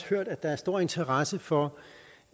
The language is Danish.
hørt at der er stor interesse for